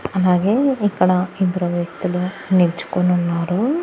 అలాగే ఇక్కడ ఇద్దరు వ్యక్తులు నిల్చుకునున్నారు.